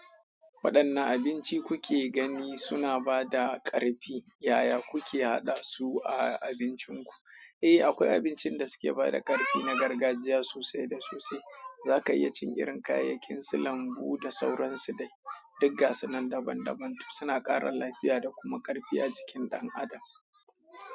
Waɗannan abinci kuke gani suna ba da ƙarfi, yaya kuke haɗa su a abincinku? Eh, akwai abincin da suke ba da ƙarfi na gargajiya sosai da sosai. Za ka iya cin irin kayayyakinsu lambu da sauransu dai. Duk ga suna dabam dabam toh suna ƙara lafiya da kuma ƙarfi a jikin ɗan adam.